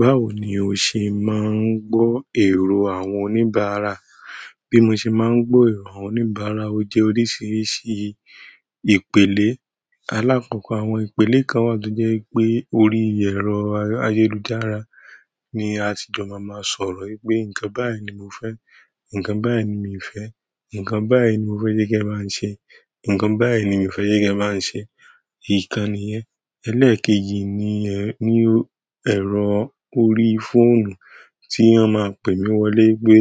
Báwo ni o ṣe máa ń gbọ́ irò àwọn oníbàárà? Bí mo ṣe máa ń gbọ́ èrò àwọn oníbàárà, ó jẹ́ oríṣiríṣi ìpele. Alákọ̀ọ́kọ́ àwọn ìpele kan wà tó jẹ́ wipé orí ẹ̀rọ ayélujára ni a tí jọ máa máa sọ̀rọ̀ wípé ǹkan báyìí ni mo fẹ́, ǹkan báyìí ni mi fẹ́, ǹkan báyìí ni mo fẹ́ kí ẹ bá ń ṣe, ǹkan báyìí ni mi fẹ́ kí ẹ bá ń ṣe, ìkàn nìyẹn. Eléèkéjì ni ẹ̀rọ orí fóònù tí wọ́n máa pè mí wọlé pé